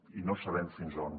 i no sabem fins a on